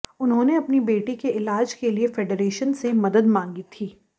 उन्होंने अपनी बेटी के इलाज के लिए फेडरेशन से मदद मांगी थी